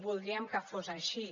voldríem que fos així